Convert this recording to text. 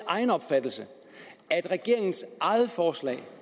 egen opfattelse er at regeringens eget forslag